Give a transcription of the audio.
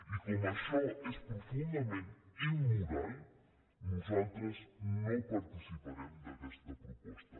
i com que això és profundament immoral nosaltres no participarem en aquesta proposta